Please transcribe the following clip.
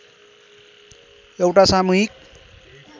एउटा सामूहिक